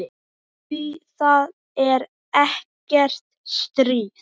Því það er ekkert stríð.